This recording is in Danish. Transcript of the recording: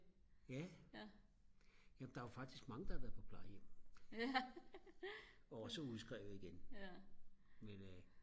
ja det er jo faktisk mange der har været på plejehjem også udskrevet igen men